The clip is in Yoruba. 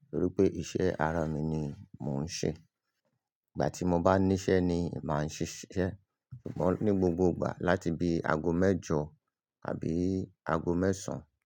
nitoripe iṣẹ́ ara mi ni mò ń ṣe. Ìgbà ti mo bá ni ise ni máa ṣiṣẹ, sugbon ní gbogbo ìgbà láti bí aago mẹjọ àbí aago mẹ́sàn-án.